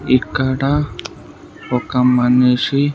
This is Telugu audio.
ఇక్కడ ఒక మనిషి.